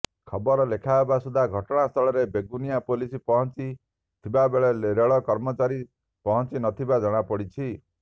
ଖବର ଲେଖାହେବା ସୁଦ୍ଧା ଘଟଣାସ୍ଥଳରେ ବେଗୁନିଆ ପୋଲିସ ପହଞ୍ଚି ଥିବାବେଳେ ରେଳ କର୍ମଚାରୀ ପହଂଚି ନଥିବା ଜଣାପଡିଛି